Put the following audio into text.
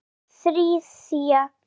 Það þriðja.